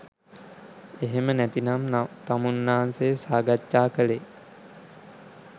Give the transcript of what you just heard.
එහෙම නැතිනම් තමුන්නාන්සේ සාකච්ඡා කළේ